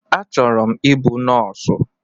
Achọrọ m ịbụ nọọsụ